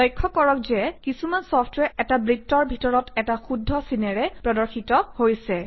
লক্ষ্য কৰক যে কিছুমান চফট্ৱেৰ এটা বৃত্তৰ ভিতৰত এটা শুদ্ধ চিনেৰে প্ৰদৰ্শিত হৈছে